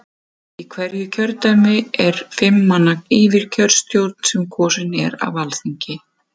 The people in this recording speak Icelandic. Í hverju kjördæmi er fimm manna yfirkjörstjórn sem kosin er af Alþingi.